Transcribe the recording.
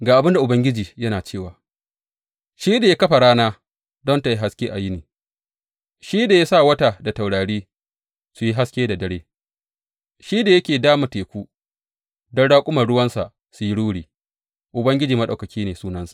Ga abin da Ubangiji yana cewa, shi da ya kafa rana don tă yi haske a yini shi da ya sa wata da taurari su yi haske da dare, shi da yake dama teku don raƙuman ruwansa su yi ruri Ubangiji Maɗaukaki ne sunansa.